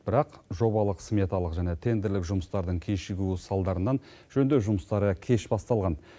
бірақ жобалық сметалық және тендерлік жұмыстардың кешігуі салдарынан жөндеу жұмыстары кеш басталған